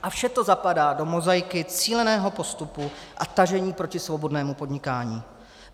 A vše to zapadá do mozaiky cíleného postupu a tažení proti svobodnému podnikání.